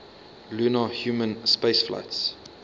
lunar human spaceflights